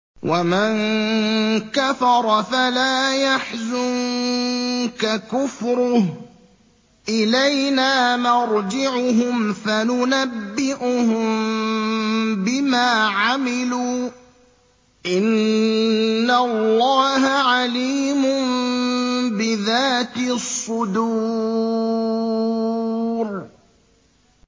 وَمَن كَفَرَ فَلَا يَحْزُنكَ كُفْرُهُ ۚ إِلَيْنَا مَرْجِعُهُمْ فَنُنَبِّئُهُم بِمَا عَمِلُوا ۚ إِنَّ اللَّهَ عَلِيمٌ بِذَاتِ الصُّدُورِ